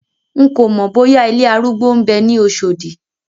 N kòmọ̀ bóyá ilé arúgbó ń bẹ ní Oṣòdì.